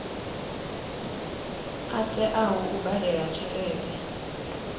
a teaho u badela tshelede